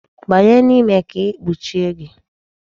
Banye n'ime ka m kpuchie gị!